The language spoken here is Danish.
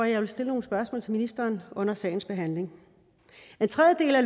jeg vil stille nogle spørgsmål til ministeren under sagens behandling en tredje del af